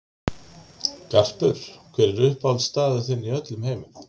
Garpur Hver er uppáhaldsstaðurinn þinn í öllum heiminum?